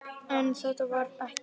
En ég get það ekki.